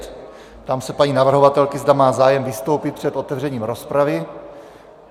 Ptám se paní navrhovatelky, zda má zájem vystoupit před otevřením rozpravy.